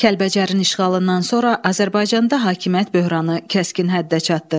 Kəlbəcərin işğalından sonra Azərbaycanda hakimiyyət böhranı kəskin həddə çatdı.